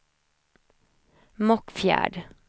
Mockfjärd